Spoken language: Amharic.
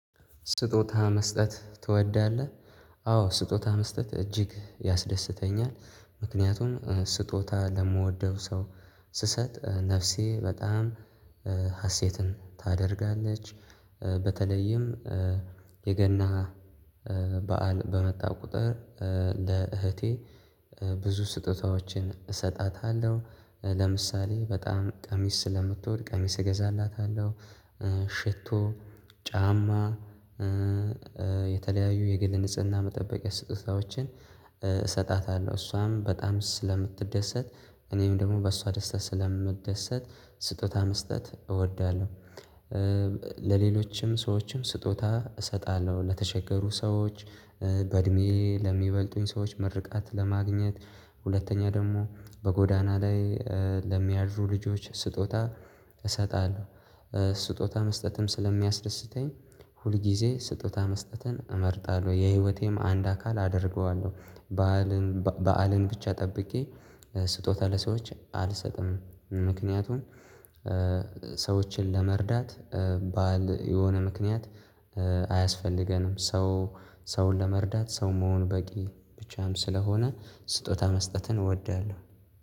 ስጦታ መስጠት ትወዳለህ? አዎ ስጦታ መስጠት እጅግ ያስደስተኛል ምክንያቱም ስጦታ ለምወደው ሰው ስሰጥ ነፍሴ በጣም ሀሴትን ታደርጋለች። በተለይም የገና በዓል በመጣ ቁጥር ለእህቴ ብዙ ስጦታዎችን እሰጣታለሁ ለምሳሌ በጣም ቀሚስ ስለምትወድ ቀሚስ እገዛላታለሁ ሽቶ ጫማ የተለያዩ የግል ንጽህና መጠበቂያ ስጦታዎችን እሰጣታለሁ እሷም በጣም ስለምትደሰት እኔም ደግሞ በእሷ ደስታ ስለምደሰት ስጦታ መስጠት እወዳለሁ። ለሌሎችም ሰዎችም ስጦታ እሰጣለሁ ለተቸገሩ ሰዎች በእድሜ ለሚበልጡኝ ሰዎች ምርቃት ለማግኘት ሁለተኛ ደግሞ በጎዳና ላይ ለሚያድሩ ልጆች ስጦታ እሰጣለሁ። ስጦታ መስጠትም ስለሚያስደስተኝ ሁል ጊዜ ስጦታ መስጠትን እመርጣለሁ የህይወቴም አንድ አካል አደርገዋለሁ። በዓልን በዓልን ብቻ ጠብቄ ስጦታ ለሰዎች አልሰጥም። ምክንያቱም ሰዎችን ለመርዳት ባዓል የሆነ ምክንያት አያስፈልገንም። ሰው ሰውን ለመርዳት ሰው መሆን በቂ ብቻም ስለሆነ ስጦታ መስጠትን እወዳለሁ